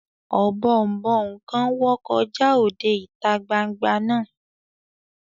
Ọ̀bọ̀ọ̀nbọọ̀n kan wọ́ kọjá òde ìta gbangba náà